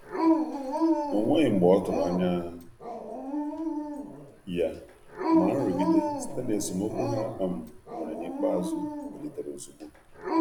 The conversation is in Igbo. O nweghị mgbe ọtụrụ anya ya, ma nrụgide site na esemokwu ha um nwere n'ikpeazụ bilitere ozugbo.